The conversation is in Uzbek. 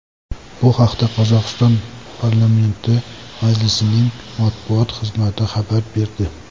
Bu haqda Qozog‘iston Parlamenti Majlisining matbuot xizmati xabar berdi .